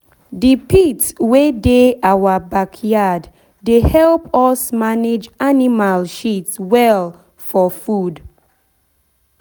the pit wey dey our backyard dey help us manage animal shit well for food.